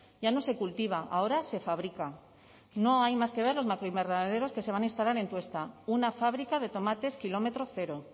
ya no se cultiva ahora se fabrica no hay más que ver los macroinvernaderos que se van a instalar en tuesta una fábrica de tomates kilómetro cero